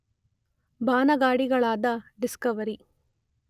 ಬಾನಗಾಡಿಗಳಾದ Discovery